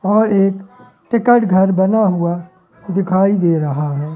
और एक टिकट घर बना हुआ दिखाई दे रहा है।